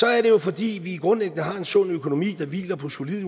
er det jo fordi vi grundlæggende har en sund økonomi der hviler på solide